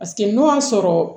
Paseke n'o y'a sɔrɔ